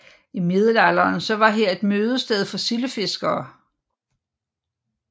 I middelalderen var her et mødested for sildefiskere